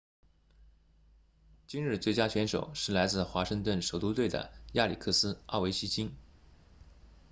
今日最佳选手是来自华盛顿首都队的亚历克斯奥韦奇金